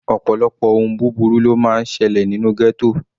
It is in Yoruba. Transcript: Ọ̀pọ̀lọpọ̀ ohun búburú ló máa ń selẹ̀ nínú ghetto.